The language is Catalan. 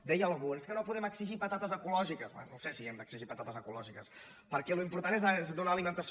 deia algú és que no podem exigir patates ecològi·ques bé no sé si hem d’exigir patates ecològiques perquè l’important és donar alimentació